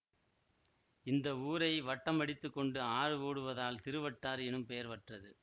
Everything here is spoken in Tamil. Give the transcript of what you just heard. இந்த ஊரை வட்டமடித்து கொண்டு ஆறு ஓடுவதால் திருவட்டாறு எனும் பெயர் பெற்றது